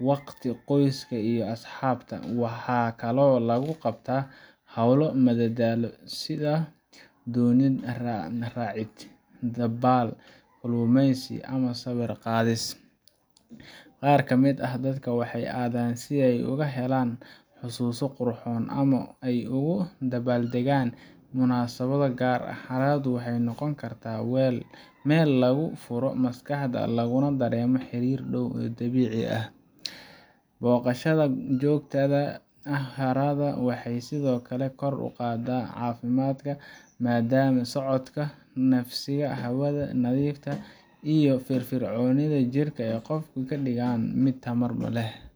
waqti qoyska iyo asxaabta, waxaa kale oo lagu qabtaa howlo madadaalo, sida doonin raacid, dabaal, kalumeysi ama sawiir qaadis, qaar kamid ah dadka waxeey adaan si aay ugu helaan xusuuso qurxoon ama aay ugu dabaal dagaan munasabad gaar ah, haraadu waxeey noqon kartaa meel lagu furo maskaxda laguna dareemo xariir dow ee dabiici ah, boqashada joogtada ah waxeey sido kale kor uqaada cafimaadka maadama socodka si hawada nadiifka iyo firfircooniga jirka ee qofka kadigaan mid tamar leh.